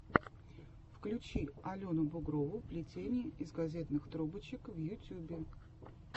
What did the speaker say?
включи алену бугрову плетение из газетных трубочек в ютюбе